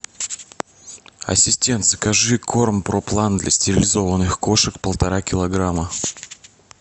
ассистент закажи корм про план для стерилизованных кошек полтора килограмма